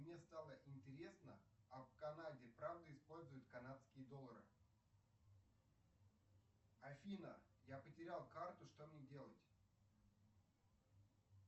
мне стало интересно а в канаде правда используют канадские доллары афина я потерял карту что мне делать